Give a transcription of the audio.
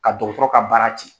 Ka dɔgɔtɔrɔ ka baara cɛn.